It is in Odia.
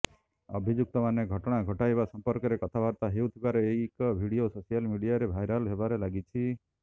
ଅଭିଯୁକ୍ତମାନେ ଘଟଣା ଘଟାଇବା ସମ୍ପର୍କରେ କଥାବାର୍ତ୍ତା ହେଉଥିବାର ଏକ ଭିଡିଓ ସୋସିଆଲ ମିଡିଆରେ ଭାଇରାଲ୍ ହେବାରେ ଲାଗିଛି